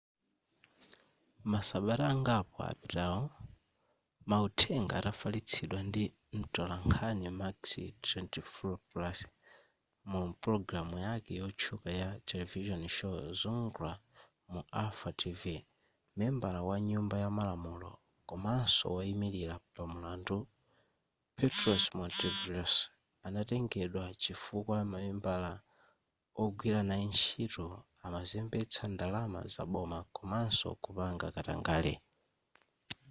masabata angapo apitawo mauthenga atafalitsidwa ndi mtolankhani makis triantafylopoulos mu pologalamu yake yotchuka ya television show zoungla mu alpha tv membala wa nyumba ya malamulo komanso woyimilira pamulandu petros mantouvalos anatengedwa chifukwa mamembala ogwira naye ntchito amazembetsa ndalama zaboma komanso kupanga katangale